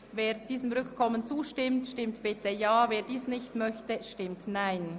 Wer diesem Antrag auf Rückkommen zustimmt, stimmt bitte Ja, wer dies ablehnt, stimmt Nein.